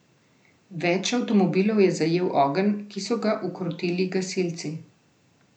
Več avtomobilov je zajel ogenj, ki so ga ukrotili gasilci.